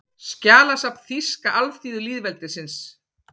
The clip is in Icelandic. Skjalasafn Þýska alþýðulýðveldisins